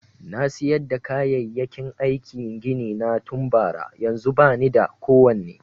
Na siyar da kayayyaki aikin gini na tun bara, yanzun ba ni da kowane.